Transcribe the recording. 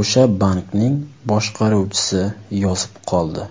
o‘sha bankning boshqaruvchisi yozib qoldi.